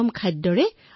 থালিত আছিল নতুন খাদ্য